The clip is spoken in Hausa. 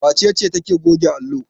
Wace ce take goge allo?